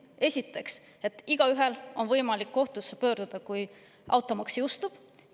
Esiteks, et igaühel on võimalik kohtusse pöörduda, kui automaks jõustub.